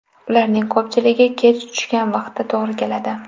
Ularning ko‘pchiligi kech tushgan vaqtga to‘g‘ri keladi.